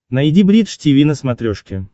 найди бридж тиви на смотрешке